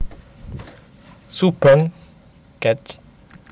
Subang Kec